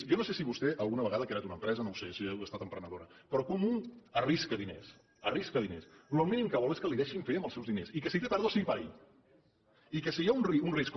jo no sé si vostè alguna vegada ha creat una empresa no ho sé si ha estat emprenedora però quan un arrisca diners arrisca diners el mínim que vol és que li deixin fer amb els seus diners i que si té pèrdues sigui per ell i que si hi ha un risc com